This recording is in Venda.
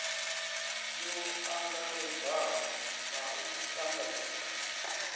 yo angaredzaho na u tanganedzwa